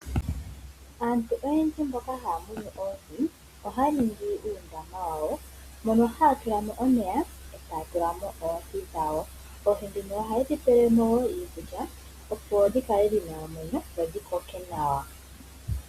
Aantu oyendji mboka haya munu oohi ohaya ningi uundama wawo, mono haya tula mo omeya e taya tula mo oohi dhawo. Oohi dhino ohaye dhi pele mo iikulya opo dhi kale dhina omwenyo dho dhi koke nawa.